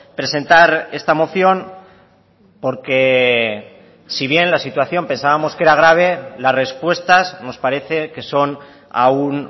presentar esta moción porque si bien la situación pensábamos que era grave las respuestas nos parece que son aún